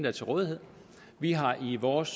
er til rådighed vi har i vores